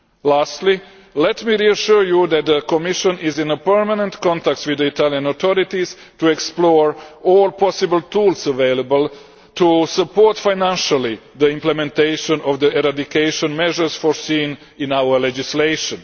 Lastly, let me reassure you that the Commission is in permanent contact with the Italian authorities to explore all possible tools available to support financially implementation of the eradication measures foreseen in our legislation.